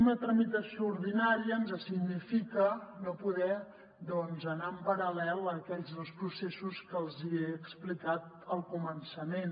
una tramitació ordinària ens significa no poder anar en paral·lel a aquells dos processos que els hi he explicat al començament